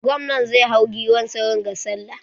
Gwamnan zai hau giwar sa wanga sallah.